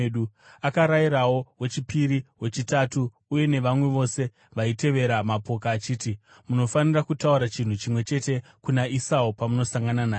Akarayirawo wechipiri, wechitatu uye navamwe vose vaitevera mapoka achiti, “Munofanira kutaura chinhu chimwe chete kuna Esau pamunosangana naye.